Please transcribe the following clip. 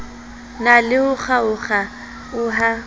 na le ho kgaokg aoha